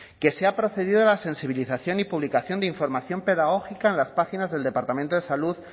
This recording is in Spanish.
que se ha procedido a la sensibilización y publicación de información pedagógica en las páginas del departamento de salud